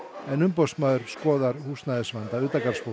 en umboðsmaður skoðar húsnæðisvanda